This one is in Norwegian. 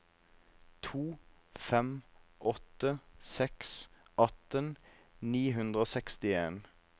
to fem åtte seks atten ni hundre og sekstien